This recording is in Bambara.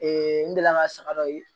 n delila ka saga dɔ